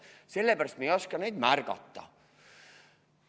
Sellepärast et me ei oska neid märgata.